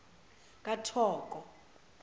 kathoko